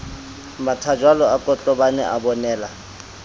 mathajwalo a kotlobane a bonela